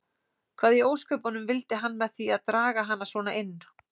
Hvað í ósköpunum vildi hann með því að draga hana svona inn.